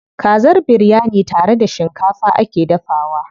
Kazar biryani tare da shikafa ake dafawa.